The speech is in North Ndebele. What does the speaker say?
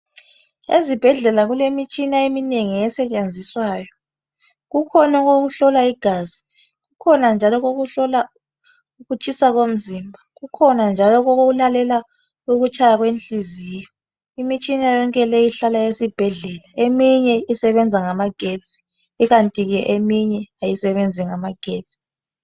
Ezibhedlela kulemitshina eminengi esetshenziswayo. Kukhona okokuhlola igazi. Kukhona njalo okokuhlola ukutshisa komzimba. Kukhona njalo okokuIàlela ukutshaya kwenhliziyo, lmitshina yonke le ihlala esibhedlela. Eminye isebenza ngamagetsi. Kukanti eminye kayisebenzi ngamagetsi.